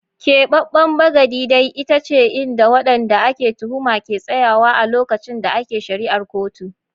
Kebeben bagadi dai ita ce inda wanda ake tuhuma ke tsayawa a lokacin da ake shari'ar kotu.